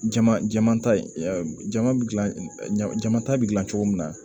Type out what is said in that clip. Jama jama ta jama bi ɲama jama ta bɛ dilan cogo min na